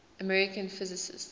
american physicists